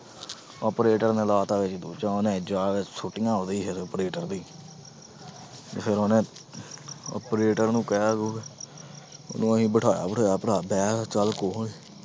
Operator ਨੇ ਲਾ ਦਿੱਤਾ ਇਹ ਦੂਜਾ ਉਹਨੇ ਜਾ ਕੇ ਸੁੱਟੀਆਂ ਉਹਦੇ ਫਿਰ operator ਦੇ ਹੀ ਫਿਰ ਉਹਨੇ operator ਨੂੰ ਕਹਿ ਕੂਹ ਕੇ ਉਹਨੂੰ ਅਸੀਂ ਬਿਠਾਇਆ ਬਠੂਇਆ ਭਰਾ ਬਹਿ ਚੱਲ